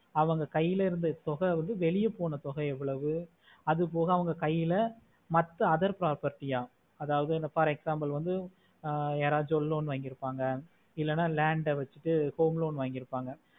அவங்க கைல இருந்த தொகை வந்து வெளியே போன தொகை ஏவோளவு அது போக அவங்க கைல மத்த other property ஆஹ் அதாவது for example யாராச்சி loan வாங்கிற்பாங்க இல்லனா land வெச்சி home loan வாங்கிற்பாங்க